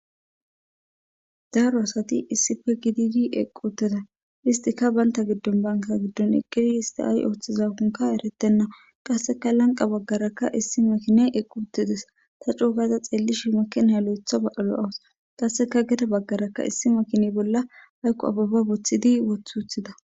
Daaro asati issife gididi eqqu uteda istika baynta giddon banka giddon eqgidi histi ay ooththiza konka eretenna qasseka lanqa baggarakka issi makine equ uttedes ta cuugaza xeellishi makenhay lo'etha ba'alo'awus qasseka geta baggarakka issi makini bolla haykko ababa boththidi wothuuthida.